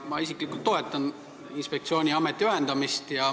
Mina isiklikult toetan inspektsiooni ja ameti ühendamist.